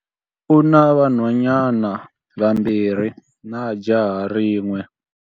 U na vanhwanyana vambirhi na jaha rin'we.